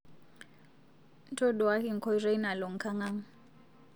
Ntoduaki nkoitei nalo nkang'ang